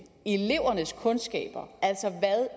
elevernes kundskaber altså hvad